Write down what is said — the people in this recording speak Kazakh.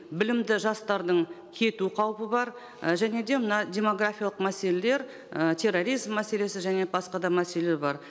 білімді жастардың кету қаупі бар ә және де мына демографиялық мәселелер і терроризм мәселесі және басқа да мәселелер бар